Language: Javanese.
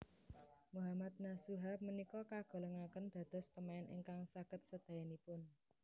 Mohammad Nasuha punika kagolongaken dados pemain ingkang saged sedayanipun